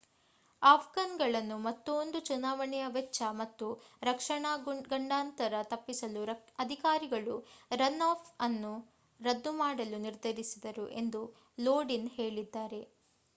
Afghan ಗಳನ್ನು ಮತ್ತೋಂದು ಚುನಾವಣೆಯ ವೆಚ್ಚ ಮತ್ತು ರಕ್ಷಣಾ ಗಂಡಾಂತರ ತಪ್ಪಿಸಲು ಅಧಿಕಾರಿಗಳು ರನ್ ಆಫ್ ಅನ್ನು ರದ್ದು ಮಾಡಲು ನಿರ್ಧರಿಸಿದರು ಎಂದೂ ಲೋಡಿನ್ ಹೇಳಿದ